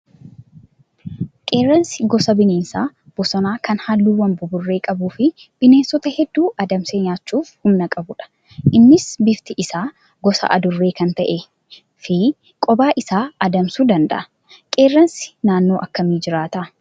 Qeerransi gosa bineensa bosonaa kan halluuwwan buburree qabuu fi bineensota hedduu adamsee nyaachuuf humna qabudha. Innis bifti isaa gosa adurree kan ta'ee fi kophaa isaa adamsuu danda'a. Qeerransi naannoo akkamii jiraata?